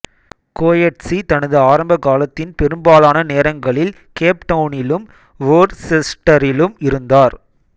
Coetzee தனது ஆரம்பகாலத்தின் பெரும்பாலான நேரங்களில் கேப்டவுனிலும் வோர்செஸ்டரிலும் இருந்தார்